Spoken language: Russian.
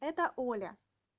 это оля